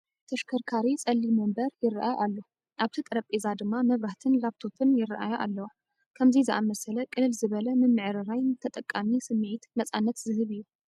ተሽከርካሪ ፀሊም ወንበር ይርአ ኣሎ፡፡ ኣብቲ ጠረጴዛ ድማ መብራህትን ላፕቶፕን ይርአያ ኣለዋ፡፡ ከምዚ ዝኣምሰለ ቅልል ዝበለ ምምዕርራይ ንተጠቓሚ ስምዒት ነፃነት ዝህብ እዩ፡፡